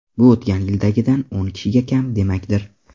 Bu o‘tgan yildagidan o‘n kishiga kam demakdir.